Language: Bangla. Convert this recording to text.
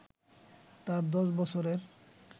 তার দশ বছরের